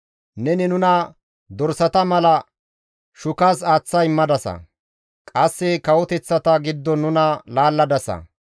Neni nuna dorsata mala shukas aaththa immadasa; qasse kawoteththata giddon nuna laalladasa.